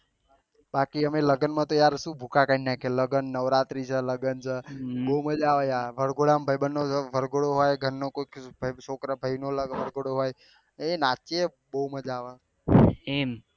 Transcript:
બાકી અમે લગન માં તો શું ભૂકા કરી નાખ્યે લગન નવરાત્રી છે લગન છે બહુ મજા આવે યાર વરઘોડા માં ભાઈબંધ નો વરઘોડો હોય ઘર નો કોઈ છ્કરા ભાઈ નો લગન વરઘોડો હોય એ નાચીએ બહુ મજા આવે